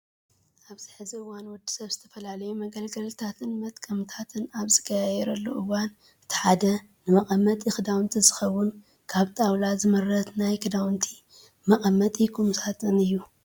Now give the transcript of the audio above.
ኣብዚ ሕዚ እዋን ወዲሰብ ዝተፈላለዩ መገልገልዳትን መጥቀምታትን ኣብ ዝቀያይረሉ እዋን እቲ ሓደ ንመቀመጢ ክዳውንቲ ዝኸውን ካብ ጣውላ ዝምረት ናይ ክዳውንቲ መቀመጢ ቁም ሳጥን እዩ።